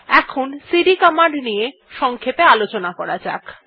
এখন CD command নিয়ে সংক্ষেপে আলোচনা করা যাক